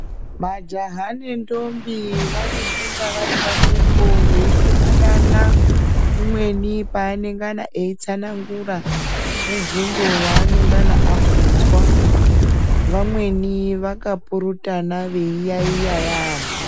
Majaha nendombi vanofunda vari pamwepo veipurutana umweni paanengana eitsanangura mubvunzo waanengana abvunzwa vamweni vakapurutana veiyaiya yaambo.